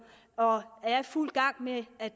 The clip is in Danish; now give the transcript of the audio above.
og er i fuld gang med at